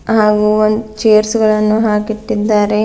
ಹಾಗೂ ಒಂದ್ ಚೇರ್ಸ್ ಗಳನ್ನು ಹಾಕಿಟ್ಟಿದ್ದಾರೆ.